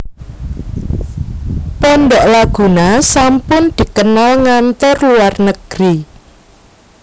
Pondok Laguna sampun dikenal ngantor luar negeri